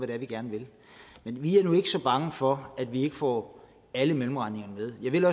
det er vi gerne vil vi er nu ikke så bange for at vi ikke får alle mellemregningerne med jeg vil